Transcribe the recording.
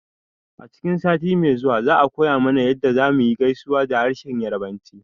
A cikin sati mai ziwa za a koya mana yadda zamuyi gaisuwa da harshen yarbanci